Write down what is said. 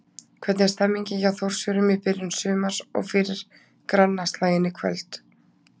Hvernig er stemningin hjá Þórsurum í byrjun sumars og fyrir grannaslaginn í kvöld?